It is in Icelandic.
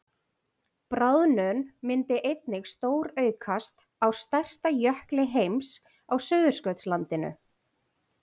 bráðnun myndi einnig stóraukast á stærsta jökli heims á suðurskautslandinu